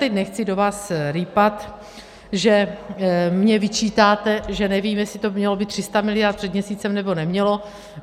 Teď nechci do vás rýpat, že mi vyčítáte, že nevím, jestli to mělo být 300 miliard před měsícem, nebo nemělo.